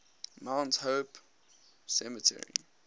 mount hope cemetery